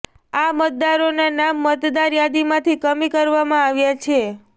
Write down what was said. આ મતદારોનાં નામ મતદાર યાદીમાંથી કમી કરવામાં આવ્યાં છે